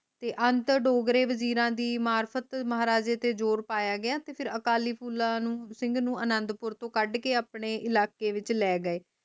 ਤੇ ਅੰਚਰ ਡੋਗਰੇ ਵਜ਼ੀਰ ਦੀ ਮਾਰਫ਼ਤ ਮਹਾਰਾਜੇ ਤੇ ਜ਼ੋਰ ਪਾਯਾ ਗਿਆ ਤੇ ਅਕਾਲੀ ਫੂਲਾ ਨੂੰ ਸਿੰਘ ਨੂੰ ਅਨੰਦਪੁਰ ਤੋਂ ਕੱਦ ਕੇ ਆਪਣੇ ਇਲਾਕੇ ਵਿਚ ਲੈ ਗਏ